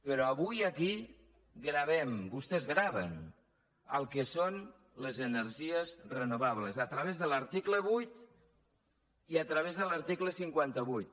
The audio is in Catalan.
però avui aquí gravem vostès graven el que són les energies renovables a través de l’article vuit i a través de l’article cinquanta vuit